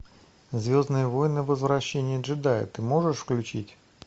звездные войны возвращение джедая ты можешь включить